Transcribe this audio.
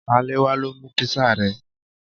Salewa lo mu pizza rẹ